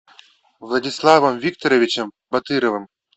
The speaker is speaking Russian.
владиславом викторовичем батыровым